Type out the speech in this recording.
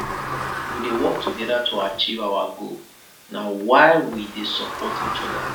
we dey work togeda to achieve our goal na why we dey support each oda